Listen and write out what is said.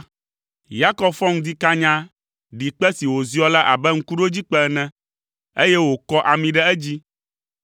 Yakob fɔ ŋdi kanya, ɖi kpe si wòziɔ la abe ŋkuɖodzikpe ene, eye wòkɔ ami ɖe edzi.